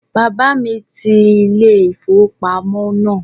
Bàbá ti ilé-ìfowópamọ́ náà